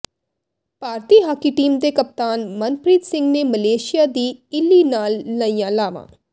ਭਾਰਤੀ hockey team ਦੇ ਕਪਤਾਨ ਮਨਪ੍ਰੀਤ ਸਿੰਘ ਨੇ ਮਲੇਸ਼ੀਆ ਦੀ ਇਲੀ ਨਾਲ ਲਈਆਂ ਲਾਵਾਂ